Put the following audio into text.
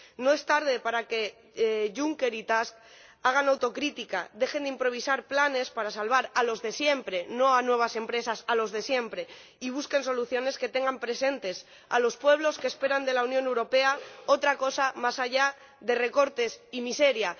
No es tarde para que el señor Juncker y el señor Task hagan autocrítica, dejen de improvisar planes para salvar a los de siempre —no a nuevas empresas, a los de siempre— y busquen soluciones que tengan presentes a los pueblos que esperan de la Unión Europea otra cosa más allá de recortes y miseria.